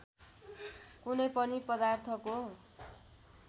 कुनै पनि पदार्थको